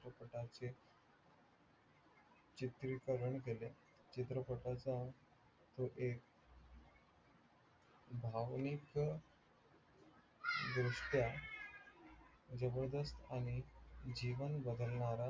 त्याने चित्रीकरण केले चित्रपटाचा तो एक भावनिक दृष्टया जबरदस्त आणि जीवन बदलणारा